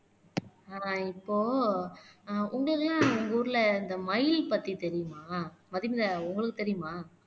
நான் இப்போ ஆஹ் உங்களை எல்லாம் உங்க ஊர்ல இந்த மயில் பத்தி தெரியுமா மதுமிதா உங்களுக்கு தெரியுமா